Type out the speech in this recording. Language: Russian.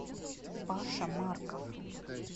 паша марков